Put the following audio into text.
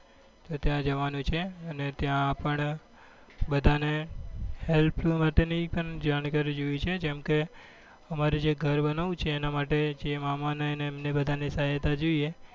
ત્યાં જવાનું છે અને ત્યાં પણ બધા ને help માટે ની એક જાણકારી જોઈએ છે કેમ કે અમારે જે ઘર બન્વવું છે એના માટે જે મામા ની એમની બધા ની સહાયતા જોઈએ